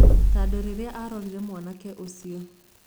Tondũ rĩrĩa arorire mwanake ũcio